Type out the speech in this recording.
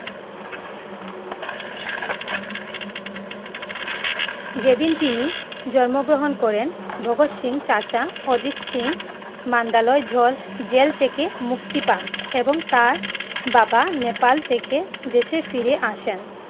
যে দিন তিনি জন্মগ্রহণ করেন ভাগত সিং চাচা অজিত সিং মালদা জেল থেকে মুক্তি পান এবং তার বাবা নেপাল থেকে দেশে ফিরে আসেন